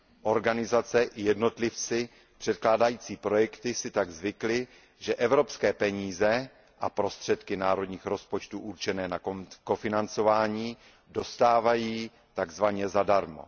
Organizace i jednotlivci předkládající projekty si tak zvykli, že evropské peníze a prostředky národních rozpočtů určené na kofinancování dostávají tzv. zadarmo.